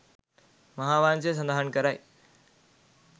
මහාවංශය සඳහන් කරයි.